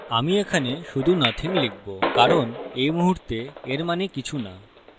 আমি এখানে শুধু nothing লিখবো কারণ এই মুহুর্তে এর means কিছু না